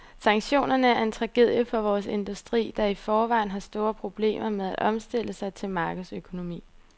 Sanktionerne er en tragedie for vores industri, der i forvejen har store problemer med at omstille sig til markedsøkonomi.